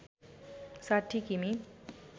६० किमि